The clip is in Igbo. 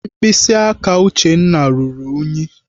Mkpịsị aka Uchenna ruru ùnyí.